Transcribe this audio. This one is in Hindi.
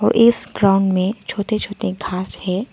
इस ग्राउंड में छोटे छोटे घास है।